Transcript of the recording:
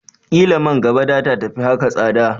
Ƙila man gaba data tafi haka tsada